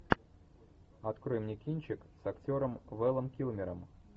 открой мне кинчик с актером вэлом килмером